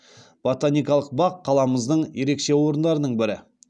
ботаникалық бақ қаламыздың ерекше орындарының бірі